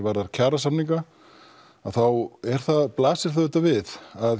varðar kjarasamninga þá blasir það við að